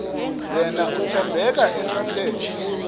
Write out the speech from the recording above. yena uthembeka esathe